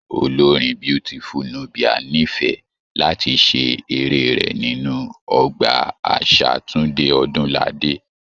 Olórin Beautiful Nubia n'ifẹ̀ láti ṣe eré rẹ nínú Ọgbà àṣà Tunde Odunlade.